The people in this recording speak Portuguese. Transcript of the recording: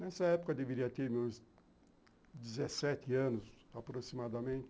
Nessa época, eu deveria ter uns dezessete anos, aproximadamente.